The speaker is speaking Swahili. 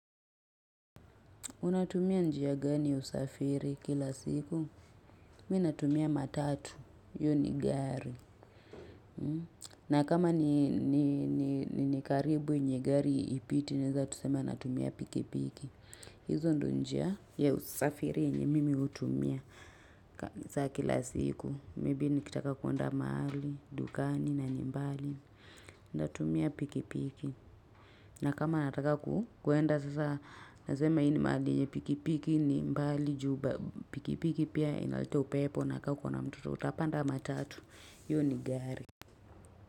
Unatumia njia gani ya usafiri kila siku. Mi natumia matatu. Hiyo ni gari. Na kama ni karibu yenye gari hipiti naeza tu sema natumia piki piki. Hizo ndo njia ya usafiri yenye mimi hutumia za kila siku. Maybe nikitaka kuenda mahali, dukani na ni mbali. Natumia piki piki. Na kama nataka kukwenda sasa nasema hii ni mahali yeyne pikipiki ni mbali juu pikipiki pia inaleta upepo na kaa ukona mtoto utapanda matatu hiyo ni gari.